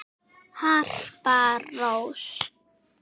Harpa Rós.